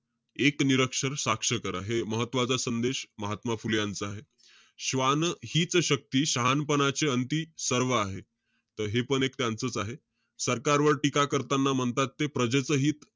एक निरक्षर साक्ष करा. हे महत्वाचं संदेश, महात्मा फुले यांचा आहे. श्वान हीच शक्ती, शहाणपणाचे अंती सर्व आहे. त हेपण एक त्यांचच आहे. सरकारवर टीका करताना म्हणतात ते प्रजेचं हित,